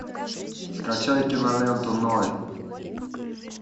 скачай киноленту ной